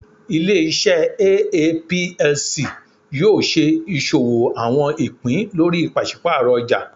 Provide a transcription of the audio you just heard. Ile-iṣẹ Aa Plc yoo ṣe iṣowo àwọn ìpín lórí paṣipaarọ ọjà.